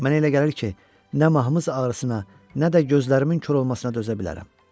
Mənə elə gəlir ki, nə mahmız ağrısına, nə də gözlərimin kor olmasına dözə bilərəm.